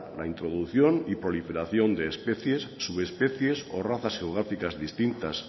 la introducción y proliferación de especies subespecies o razas geográficas distintas